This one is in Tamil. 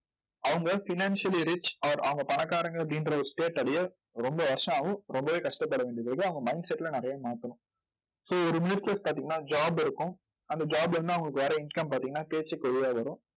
அவங்க financially rich or அவங்க பணக்காரங்க அப்படின்ற ஒரு state அடைய ரொம்ப வருஷம் ஆகும். ரொம்பவே கஷ்டப்பட வேண்டியது இருக்கும். அவங்க mindset ல நிறைய மாத்தணும் so ஒரு middle class பாத்தீங்கன்னா job இருக்கும். அந்த job ல இருந்து அவங்களுக்கு வர்ற income பாத்தீங்கன்னா வழியா வரும்.